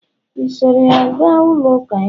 i soro ya ga ụlọ uka ya?